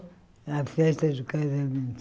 Na festa do casamento.